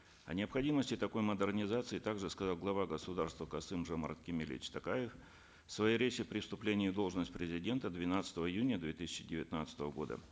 о необходимости такой модернизации также сказал глава государства касым жомарт кемелевич токаев в своей речи при вступлении в должность президента двенадцатого июня две тысячи девятнадцатого года